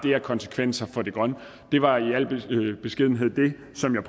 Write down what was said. af konsekvenser for det grønne det var i al beskedenhed det som jeg